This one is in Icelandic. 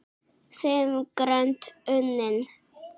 Fimm grönd unnin!